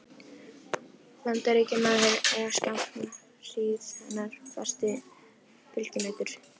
Bandaríkjamaður er skamma hríð hennar fasti fylginautur.